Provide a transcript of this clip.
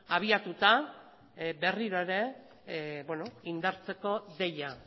abiatuta berriro ere indartzeko deia